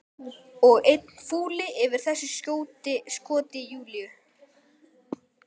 Og enn fúlli yfir þessu skoti Júlíu.